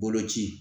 Boloci